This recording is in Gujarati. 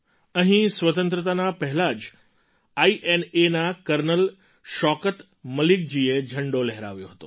અહીં સ્વતંત્રતાના પહેલાં જ આઈએનએના કર્નલ શૌકત મલિકજીએ ઝંડો લહેરાવ્યો હતો